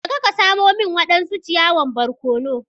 Je ka samo min wadansu ciyawan barkono!